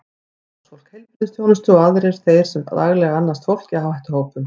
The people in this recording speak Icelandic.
Starfsfólk heilbrigðisþjónustu og aðrir þeir sem daglega annast fólk í áhættuhópum.